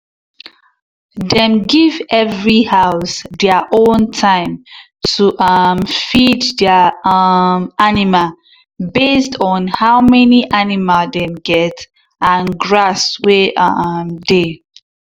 dem give every house their own time to um feed their um animal based on how many animal dem get and grass wey um dey.